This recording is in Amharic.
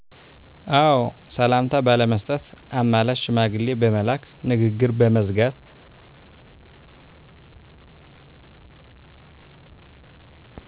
አዎ ሰላምታ ባለመስጠት፣ አማላጅ ሽማግሌ በመላክ፣ ንግግር በመዝጋት